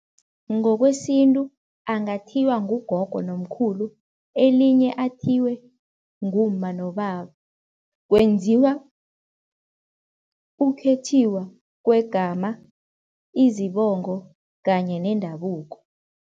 Ngokwesintu angathiywa ngugogo nomkhulu elinye athiywe ngumma nobaba, kwenziwa ukukhethiwa kwegama izibongo kanye nendabuko.